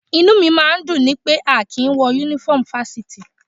Inú mi máa ń dùn ni pé a kì í wọ Únífọ́ọ̀mù Fáṣítì